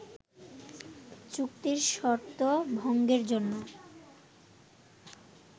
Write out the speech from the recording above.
চুক্তির শর্ত ভঙ্গের জন্য